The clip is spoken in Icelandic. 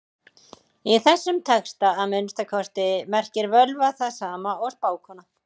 Í þessum texta, að minnsta kosti, merkir völva það sama og spákona.